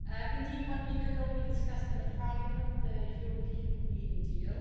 Indeed one week ago, we discussed in the Parliament the European Green Deal.